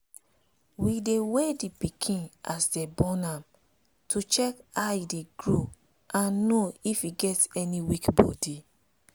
we dey weigh the pikin as dem born am to check how e dey grow and know if e get any weak body.